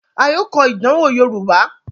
a yóò kọ ìdánwò yorùbá.